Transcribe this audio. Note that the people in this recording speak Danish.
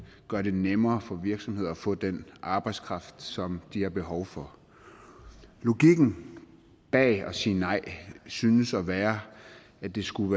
gøre det nemmere for virksomheder at få den arbejdskraft som de har behov for logikken bag at sige nej synes at være at det skulle